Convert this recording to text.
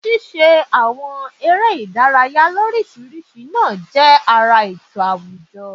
Ṣíṣe àwọn eré ìdárayá l'óríṣiríṣi náà jẹ́ ara ètò àwùjọ